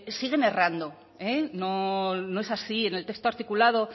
siguen errando no no es así en el texto articulado